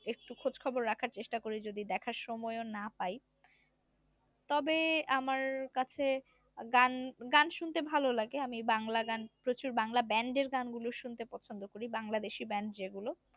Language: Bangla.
একটু খোজ খবর রাখার চেষ্টা করি যদি দেখার সময়ও না পাই তবে আমার কাছে গান গান শুনতে ভালো লাগে আমি বাংলা গান প্রচুর বাংলা band এর গানগুলো শুনতে পছন্দ করি বাংলাদেশি band যেগুলো